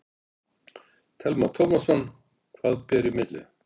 Telma Tómasson: Hvað ber í milli?